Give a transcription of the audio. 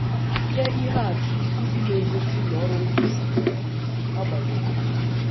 Nye ihe atụ ndị na - egosi na ọrụ nkwusa gara n’ihu n’agbanyeghị nsogbu.